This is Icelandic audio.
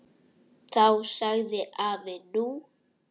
Þá sagði afi: Nú?